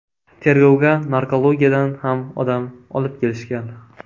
Tergovga narkologiyadan ham odam olib kelishgan.